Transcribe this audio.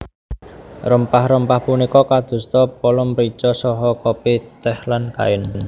Rempah rempah punika kadosta pala mrica saha kopi tèh lan kain